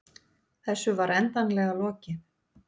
Þessu var endanlega lokið.